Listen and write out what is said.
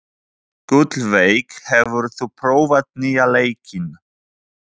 Gullveig, hefur þú prófað nýja leikinn?